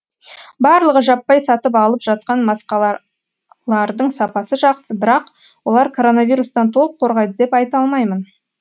барлығы жаппай сатып алып жатқан маскалардың сапасы жақсы бірақ олар коронавирустан толық қорғайды деп айта алмаймын